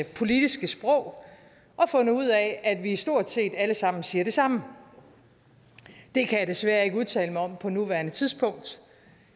politiske sprog og fundet ud af at vi stort set alle sammen siger det samme det kan jeg desværre ikke udtale mig om på nuværende tidspunkt